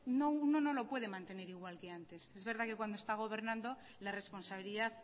ya uno no lo puede mantener igual que antes es verdad que cuando está gobernando la responsabilidad